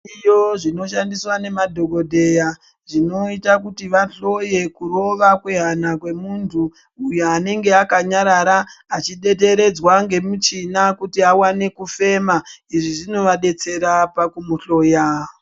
Zviriyo zvinoshandiswa nemadhogodheya zvinota kuti vahloye kurova kwehana kwemuntu. Uyo anenge akanyarara achideteredzwa nemichina kuti avane kufema zvinovabetsera pakumuhloya.